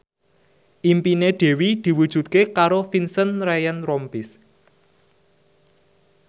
impine Dewi diwujudke karo Vincent Ryan Rompies